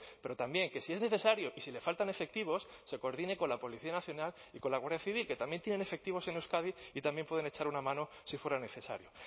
pero también que si es necesario y si le faltan efectivos se coordine con la policía nacional y con la guardia civil que también tienen efectivos en euskadi y también pueden echar una mano si fuera necesario